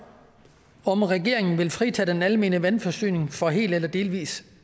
om regeringen vil fritage den almene vandforsyning for hel eller delvis